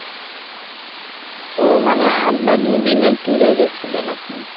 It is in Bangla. ও মানে এক বা দুদিনের tour এ গেছিলেন আপনি?